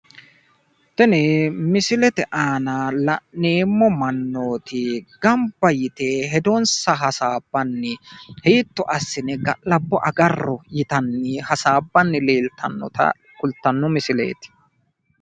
Tini misilete aana la'neemmo mannooti gamba yite hedonsa hasaabbanni hiitto assine ga'labbo agarro yitanni hasaabbanni leeltannota kultanno misileeti.